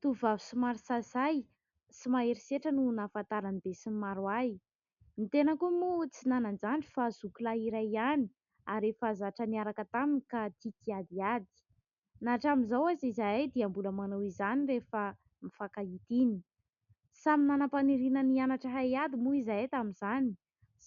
Tovovavy somary sahisahy sy mahery setra no nahafantaran'ny be sy ny maro ahy. Ny tena koa moa tsy nanan-jandry fa zoky lahy iray ihany ary efa zatra niaraka taminy ka tia kiadiady. Na hatramin'izao aza izahay dia mbola manao izany rehefa mifankahita iny. Samy nanam-paniriana ny hianatra haiady moa izahay tamin'izany,